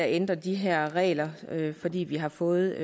ændre de her regler fordi vi har fået